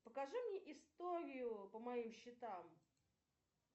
покажи мне историю по моим счетам